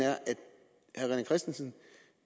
christensen